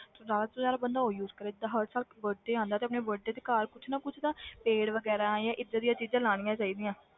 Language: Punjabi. ਤੇ ਜ਼ਿਆਦਾ ਤੋਂ ਜ਼ਿਆਦਾ ਬੰਦਾ ਉਹ use ਕਰੇ ਜਿੱਦਾਂ ਹਰ ਸਾਲ birthday ਆਉਂਦਾ ਤੇ ਆਪਣੇ birthday ਤੇ ਘਰ ਕੁਛ ਨਾ ਕੁਛ ਤਾਂ ਪੇੜ ਵਗ਼ੈਰਾ ਜਾਂ ਏਦਾਂ ਦੀਆਂ ਚੀਜ਼ਾਂ ਲਾਉਣੀਆਂ ਚਾਹੀਦੀਆਂ।